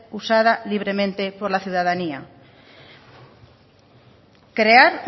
usada libremente por la ciudadanía crear